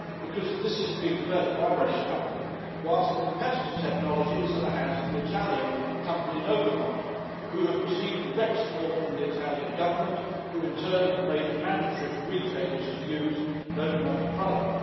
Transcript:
Because this is being developed by a British company, whilst the competitor technology is in the hands of the Italian company Novamont, who have received direct support from the Italian Government, who in turn have made it mandatory for retailers to use Novamont's product.